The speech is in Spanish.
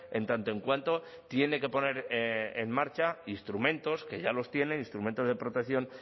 en tanto en cuanto tiene que poner en marcha instrumentos que ya los tiene instrumentos de protección